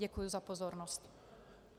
Děkuji za pozornost.